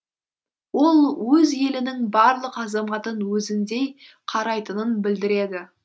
ол өз елінің барлық азаматын өзіндей қарайтынын білдіреді